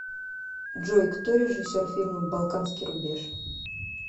джой кто режиссер фильма балканский рубеж